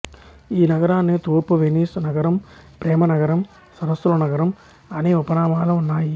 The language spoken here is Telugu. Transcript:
ఈ నగరాన్ని తూర్పు వెనిస్ నగరం ప్రేమ నగరం సరస్సుల నగరం అని ఉపనామాలు ఉన్నాయి